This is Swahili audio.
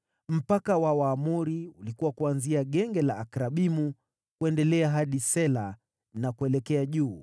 Mpaka wa Waamori ulikuwa kuanzia Genge la Akrabimu, kuendelea hadi Sela na kuelekea juu.